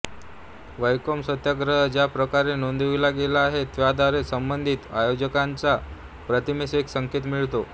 वैकोम सत्याग्रह ज्या प्रकारे नोंदविला गेला आहे त्याद्वारे संबंधित आयोजकांच्या प्रतिमेस एक संकेत मिळतो